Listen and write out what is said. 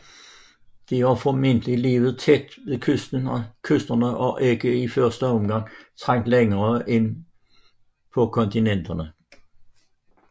De har formentlig levet tæt ved kysterne og har ikke i første omgang trængt længere ind på kontinenterne